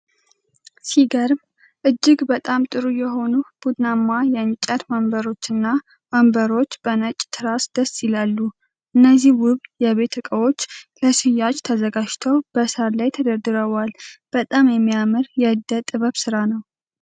ሲገርም! እጅግ በጣም ጥሩ የሆኑ ቡናማ የእንጨት ወንበሮችና ወንበሮች በነጭ ትራስ ደስ ይላሉ። እነዚህ ውብ የቤት እቃዎች ለሽያጭ ተዘጋጅተው በሳር ላይ ተደርድረዋል። በጣም የሚያምር የዕደ-ጥበብ ስራ ነው!